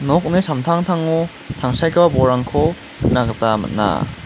nokni samtangtango tangsekgipa bolrangko nikna gita man·a.